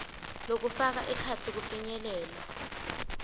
lokufaka ekhatsi kufinyelela